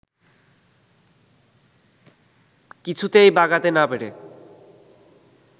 কিছুতেই বাগাতে না পেরে